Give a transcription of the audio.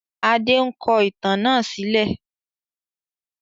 Adé ń kọ ìtàn náà sílẹ̀